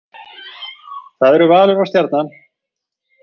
Það eru Valur og Stjarnan